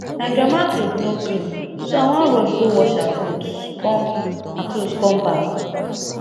my grandma cloth no clean so i wan rush go wash her cloth come her cloth come back